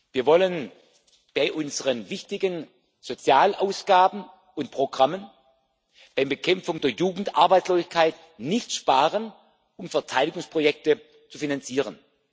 Wir wollen bei unseren wichtigen Sozialausgaben und Programmen, bei der Bekämpfung der Jugendarbeitslosigkeit, nicht sparen, um Verteidigungsprojekte zu finanzieren.